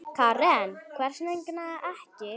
Karen: Hvers vegna ekki?